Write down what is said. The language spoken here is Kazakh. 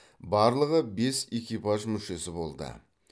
барлығы бес экипаж мүшесі болды